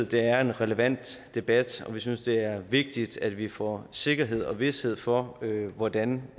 det er en relevant debat og vi synes det er vigtigt at vi får sikkerhed og vished for hvordan